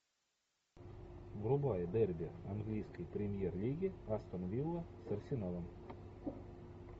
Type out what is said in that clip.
врубай дерби английской премьер лиги астон вилла с арсеналом